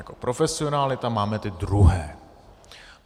Jako profesionály tam máme ty druhé.